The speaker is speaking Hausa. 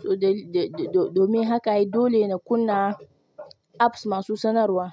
To da-da-da domin haka ai dole na kunna apps masu sanarwa.